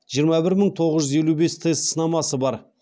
жиырма бір мың тоғыз жүз елу бес тест сынамасы бар